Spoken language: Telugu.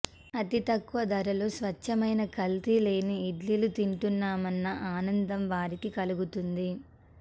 అతి తక్కువ ధరలో స్వచ్ఛమైన కల్తీ లేని ఇడ్లీలు తింటున్నామన్న ఆనందం వారికి కలుగుతుంది